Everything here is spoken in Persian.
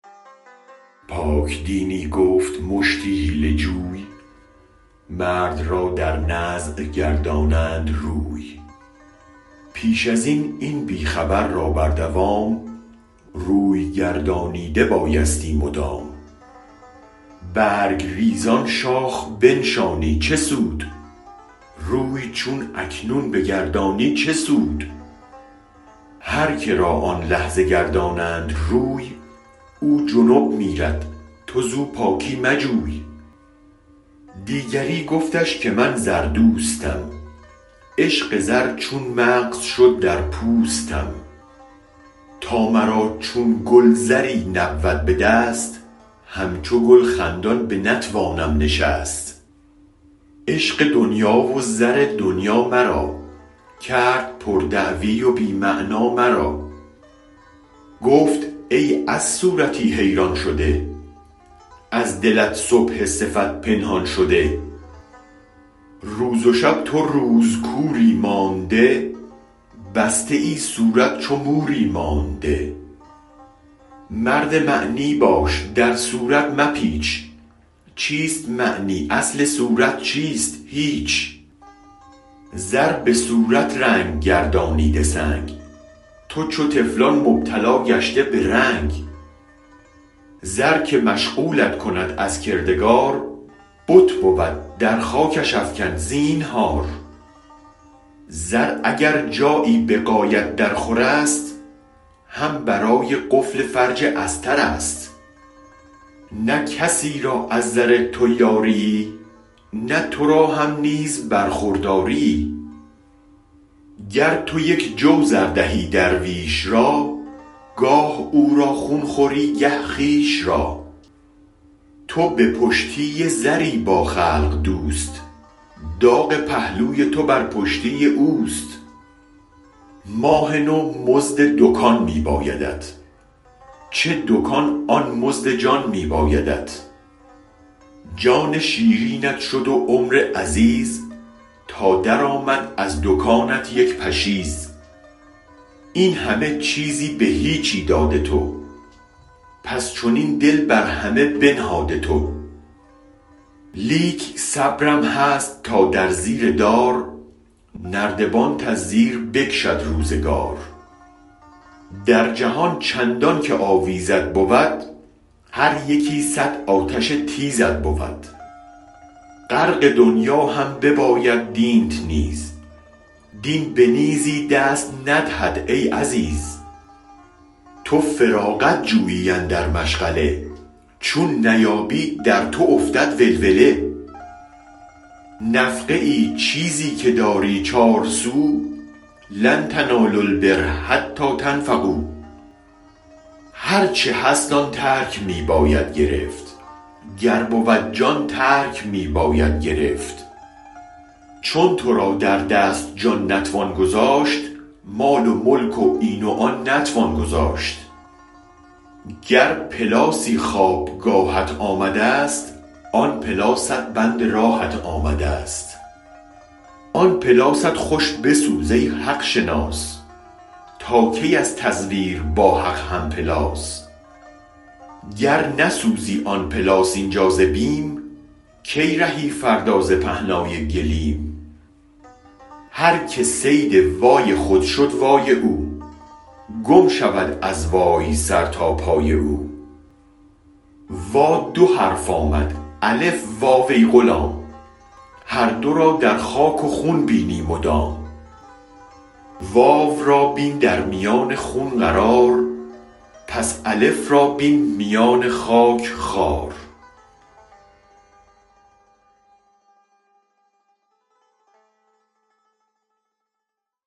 پاک دینی گفت مشتی حیله جوی مرد را در نزع گردانند روی پیش از این این بی خبر را بر دوام روی گردانیده بایستی مدام برگ ریزان شاخ بنشانی چه سود روی چون اکنون بگردانی چه سود هرک را آن لحظه گردانند روی او جنب میرد تو زو پاکی مجوی دیگری گفتش که من زر دوستم عشق زر چون مغز شد در پوستم تا مرا چون گل زری نبود به دست همچو گل خندان بنتوانم نشست عشق دنیا و زر دنیا مرا کرد پر دعوی و بی معنی مرا گفت ای از صورتی حیران شده از دلت صبح صفت پنهان شده روز و شب تو روز کوری مانده بسته ای صورت چو موری مانده مرد معنی باش در صورت مپیچ چیست معنی اصل صورت چیست هیچ زر به صورت رنگ گردانیده سنگ تو چو طفلان مبتلا گشته به رنگ زر که مشغولت کند از کردگار بت بود در خاکش افکن زینهار زر اگر جایی به غایت در خورست هم برای قفل فرج استر است نه کسی را از زر تو یاریی نه ترا هم نیز برخورداریی گر تو یک جو زر دهی درویش را گاه او را خون خوری گه خویش را تو به پشتی زری با خلق دوست داغ پهلوی تو بر پشتی اوست ماه نو مزد دکان می بایدت چه دکان آن مزد جان می بایدت جان شیرینت شد و عمر عزیز تا درآمد از دکانت یک پشیز این همه چیزی به هیچی داده تو پس چنین دل بر همه بنهاده تو لیک صبرم هست تا در زیر دار نردبانت از زیر بکشد روزگار در جهان چندانک آویزت بود هر یکی صد آتش تیزت بود غرق دنیا هم بباید دینت نیز دین بنیزی دست ندهد ای عزیز تو فراغت جویی اندر مشغله چون نیابی در تو افتد ولوله نفقه ای چیزی که داری چار سو لن تنالوا البر حتی تنفقوا هرچ هست آن ترک می باید گرفت گر بود جان ترک می باید گرفت چون ترا در دست جان نتوان گذاشت مال و ملک و این و آن نتوان گذاشت گر پلاسی خواب گاهت آمدست آن پلاست بند راهت آمدست آن پلاست خوش بسوز ای حق شناس تا کی از تزویر با حق هم پلاس گر نسوزی آن پلاس اینجا ز بیم کی رهی فردا ز پهنای گلیم هرک صید وای خود شد وای او گم شود از وای سر تا پای او وا دو حرف آمد الف واو ای غلام هر دو را در خاک و خون بینی مدام واو را بین در میان خون قرار پس الف را بین میان خاک خوار